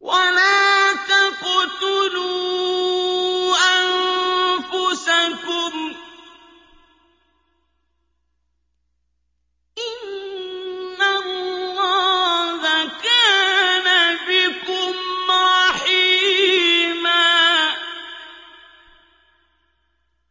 وَلَا تَقْتُلُوا أَنفُسَكُمْ ۚ إِنَّ اللَّهَ كَانَ بِكُمْ رَحِيمًا